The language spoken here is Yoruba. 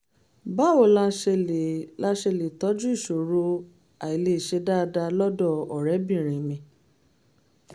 báwo la ṣe lè la ṣe lè tọ́jú ìṣòro àìlèṣe dáadáa lọ́dọ̀ ọ̀rẹ́bìnrin mi?